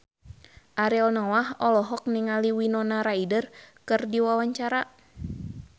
Ariel Noah olohok ningali Winona Ryder keur diwawancara